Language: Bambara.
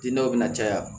Dinaw bɛ na caya